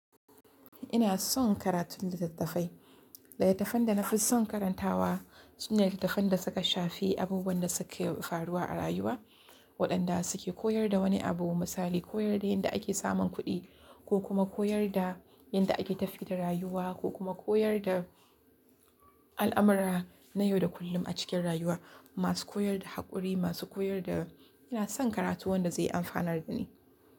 Ina son karatun littattafai, littattafan da na fi son karantawa sune littattafan da suka shafi abubuwan da suke faruwa a rayuwa, waɗanda suke koyar da wani abu misali koyar da yadda ake samun kuɗi ko kuma koyar da yadda ake tafiya da rayuwa ko kuma koyar da al'amura na yau da kullum a cikin rayuwa, masu koyar da haƙuri, masu koyar da ina son karatu wanda zai amfanar da ni.